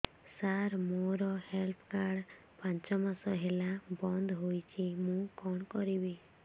ସାର ମୋର health card ପାଞ୍ଚ ମାସ ହେଲା ବଂଦ ହୋଇଛି ମୁଁ କଣ କରିବି